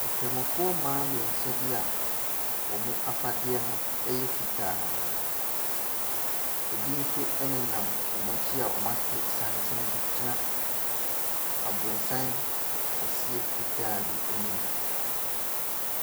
Nkramofoɔ mmaa mmiɛnsa bi a wɔn afadeɛ no yɛ fitaa. Ebi nso nenam wɔn akyi a wɔato santene bi gyina abronsan kɛseɛ fitaa bi anim.